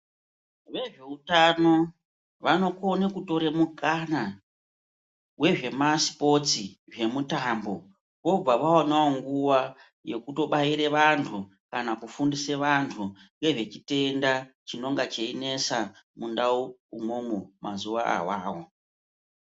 Vezve utano vanokone kutore mukana wezvemitambo vobva vaonawo nguwa yekutobaire vanhu kana kufundise vanhu ngezvechitenda chinenge cheinesa mundau umwomwo mazuwa awawo.